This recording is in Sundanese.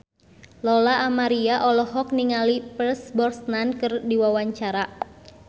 Lola Amaria olohok ningali Pierce Brosnan keur diwawancara